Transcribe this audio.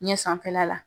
Ɲɛ sanfɛla la